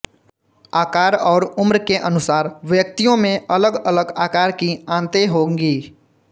आकार और उम्र के अनुसार व्यक्तियों में अलग अलग आकार की आंतें होंगी